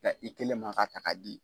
i kelen man ka ta ka di.